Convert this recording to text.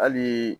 Hali